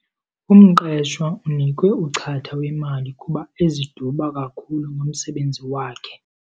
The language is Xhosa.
Umqeshwa unikwe uchatha wemali kuba eziduba kakhulu ngomsebenzi wakhe.